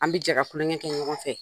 An bi jɛ ka kulonkɛ kɛ ɲɔgɔn fɛ